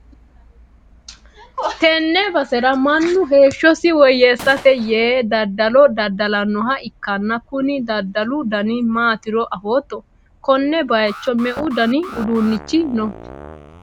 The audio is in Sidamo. tenne basera mannu heeshshosi woyyeessate yee daddalo dadda'lannoha ikkanna, kuni daddalu dani maatiro afootto? konne bayicho me'u dani uduunnichi no?